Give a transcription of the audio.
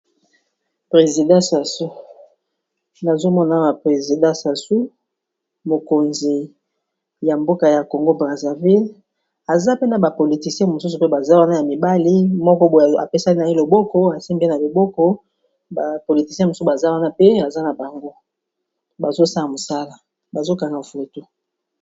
President SASou nazomona awa presidant Sasou mokonzi ya mboka ya Congo Brazzaville aza pe na ba politiciens mosusu pe baza wana ya mibali moko boye apesani naye loboko asimbi ye na liboko ba politiciens mosusu baza wana pe aza na bango bazosala mosala bazo kanga foto.